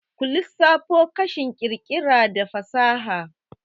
ku lissafo kashin ƙirƙira da fasaha?